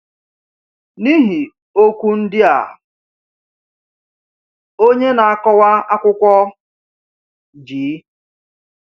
N’ihi okwu ndị a, onye na-akọwa akwụkwọ G.